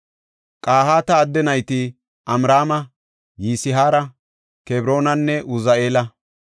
Qahaata adde nayti Amraama, Yisihaara, Kebroonanne Uzi7eela.